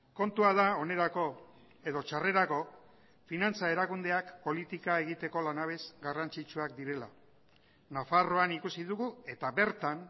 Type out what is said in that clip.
kontua da onerako edo txarrerako finantza erakundeak politika egiteko lanabes garrantzitsuak direla nafarroan ikusi dugu eta bertan